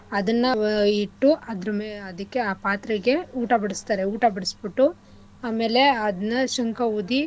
ಅದನ್ನ ಇ~ ಇಟ್ಟು ಅದ್ರಮೇಲೆ ಅದಿಕ್ಕೆ ಆ ಮ ಪಾತ್ರೆಗೆ ಊಟ ಬಡಸ್ತರೆ ಊಟ ಬಡಸ್ಬಿಟ್ಟು ಆಮೇಲೆ ಅದ್ನ ಶಂಖ ಊದಿ.